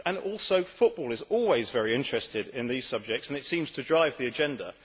Also, football is always very interested in these subjects and it seems to drive the agenda.